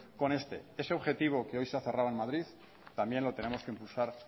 con este ese objetivo que hoy se ha cerrado en madrid también lo tenemos que impulsar